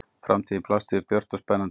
Framtíðin blasti við björt og spennandi.